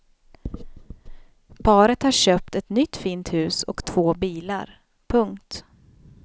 Paret har köpt ett nytt fint hus och två bilar. punkt